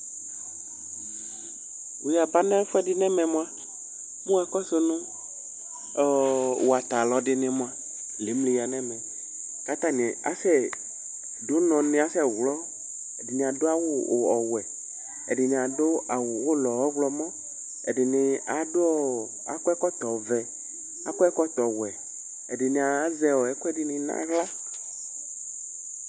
Wʋ yaba nɛfʋɛdɩ nɛmɛ mʋa, mʋ wʋakɔsʋ nʋ ɔɔ watalɔdɩnɩ mʋa ,l' emli ya nɛmɛ; k 'atanɩ asɛ dʋ ʋnɔ nɩ asɛ ɣlɔ Ɛdɩnɩ adʋ ɔwɛ ,ɛdɩnɩ adʋ awʋ ʋlɔ ɔɣlɔmɔ; ɛdɩnɩ adʋ akɔ ɛkɔtɔ